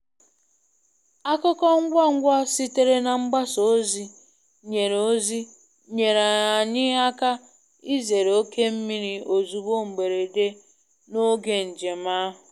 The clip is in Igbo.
Akụkọ ngwa ngwa sitere na mgbasa ozi nyere ozi nyere anyị aka izere oké mmiri ozuzo mberede n'oge njem ahụ.